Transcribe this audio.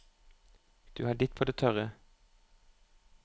Du har ditt på det tørre.